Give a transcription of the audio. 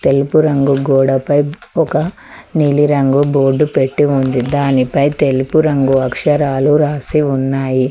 తెలుపు రంగు గోడపై ఒక నీలిరంగు బోర్డు పెట్టి ఉంది దానిపై తెలుపు రంగు అక్షరాలు రాసి ఉన్నాయి.